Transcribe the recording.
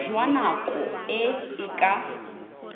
jwa nako e e ka